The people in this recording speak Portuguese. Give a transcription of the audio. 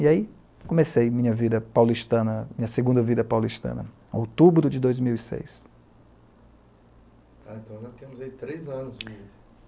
E aí, comecei minha vida paulistana, minha segunda vida paulistana, em outubro de dois mil e seis. Tá, então nós temos aí três anos de